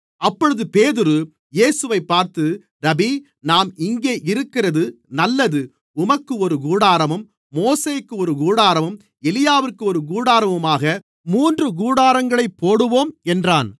அப்பொழுது பேதுரு இயேசுவைப் பார்த்து ரபீ நாம் இங்கே இருக்கிறது நல்லது உமக்கு ஒரு கூடாரமும் மோசேக்கு ஒரு கூடாரமும் எலியாவிற்கு ஒரு கூடாரமுமாக மூன்று கூடாரங்களைப் போடுவோம் என்றான்